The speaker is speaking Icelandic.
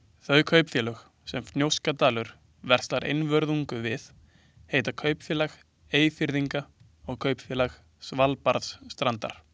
Þau kaupfélög, sem Fnjóskadalur verslar einvörðungu við, heita Kaupfélag Eyfirðinga og Kaupfélag Svalbarðsstrandar.